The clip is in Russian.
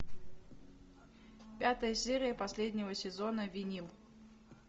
пятая серия последнего сезона винил